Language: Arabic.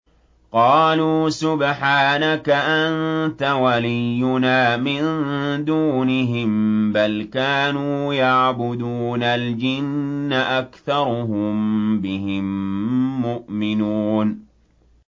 قَالُوا سُبْحَانَكَ أَنتَ وَلِيُّنَا مِن دُونِهِم ۖ بَلْ كَانُوا يَعْبُدُونَ الْجِنَّ ۖ أَكْثَرُهُم بِهِم مُّؤْمِنُونَ